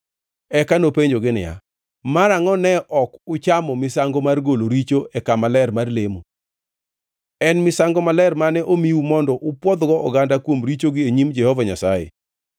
Eka nopenjogi niya, “Marangʼo ne ok uchamo misango mar golo richo e kama ler mar lemo? En misango maler mane omiu mondo upwodhgo oganda kuom richogi e nyim Jehova Nyasaye.